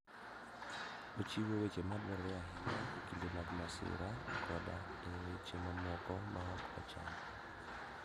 Ochiwo weche madwarore ahinya e kinde mag masira koda e weche mamoko ma ok ochan.